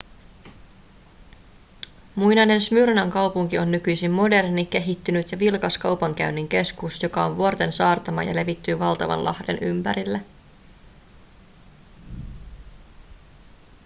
muinainen smyrnan kaupunki on nykyisin moderni kehittynyt ja vilkas kaupankäynnin keskus joka on vuorten saartama ja levittyy valtavan lahden ympärille